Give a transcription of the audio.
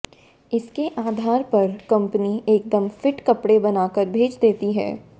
इसके आधार पर कंपनी एकदम फिट कपड़े बनाकर भेज देती है